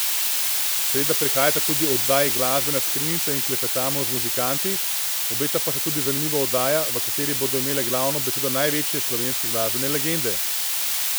Seveda prihajata tudi oddaji Glasbena skrinjica in Klepetamo z muzikanti, obeta pa se tudi zanimiva oddaja, v kateri bodo imele glavno besedo največje slovenske glasbene legende.